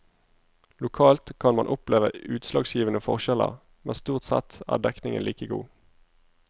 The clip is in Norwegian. Lokalt kan man oppleve utslagsgivende forskjeller, men stort sett er dekningen like god.